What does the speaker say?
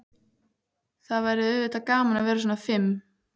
Það væri auðvitað gaman að vera svona fim.